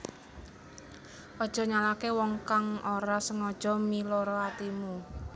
Aja nyalahke wong kang ora sengojo miloro atimu